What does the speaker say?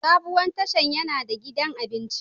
Sabuwar tashan yana da gidan abinci.